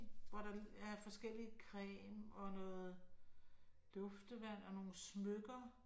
Hvor der er forskellig creme og noget duftevand og nogen smykker